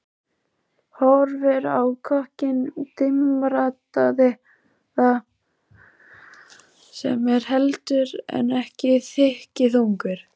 Horfir á kokkinn dimmraddaða sem er heldur en ekki þykkjuþungur.